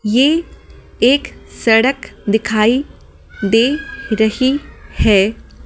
यह एक सड़क दिखाई दे रही है।